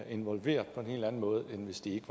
involveret på en helt anden måde end hvis de ikke